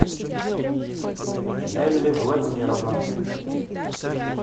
нелли владимировна